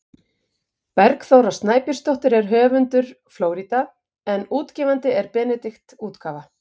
Bergþóra Snæbjörnsdóttir er höfundur „Flórída“ en útgefandi er Benedikt bókaútgáfa.